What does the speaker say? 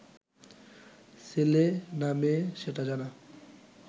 ছেলে না মেয়ে সেটা জানা